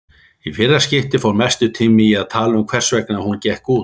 Í fyrra skiptið fór mestur tíminn í að tala um hversvegna hún gekk út.